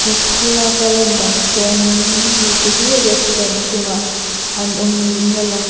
thlalaka a lan dan chuanin mite hi restaurant chhungah an awm niin a lang a--